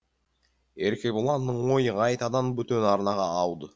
еркебұланның ойы қайтадан бөтен арнаға ауды